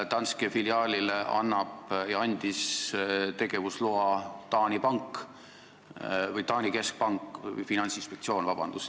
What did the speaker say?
Danske filiaalile andis tegevusloa Taani keskpank, vabandust, finantsinspektsioon.